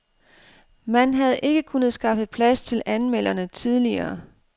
Man havde ikke kunnet skaffe plads til anmelderne tidligere.